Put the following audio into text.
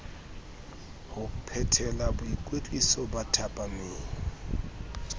ho phethela boikwetliso ba thapameng